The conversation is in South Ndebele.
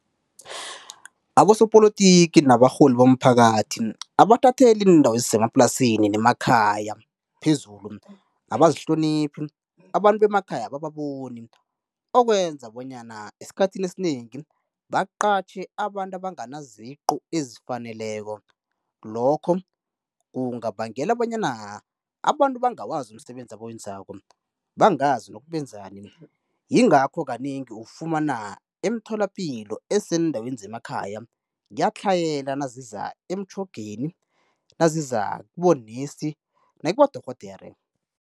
Abosopolotiki nabarholi bomphakathi abathatheli iindawo ezisemaplasini nemakhaya phezulu, abazihloniphi, abantu bemakhaya abababoni okwenza bonyana esikhathini esinengi baqatjhe abantu abangana ziqu ezifaneleko lokho kungabangela bonyana abantu bangawazi umsebenzi abawenzako, bangazi nokuthi benzani yingakho kanengi ufumana emtholapilo eseendaweni zemakhaya kuyatlhayela naziza emtjhogeni, naziza kibonesi nakibodorhodere.